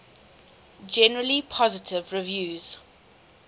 generally positive reviews